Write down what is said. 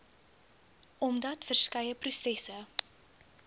omdat verskeie prosesse